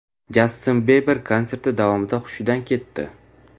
Jastin Biber konserti davomida hushidan ketdi.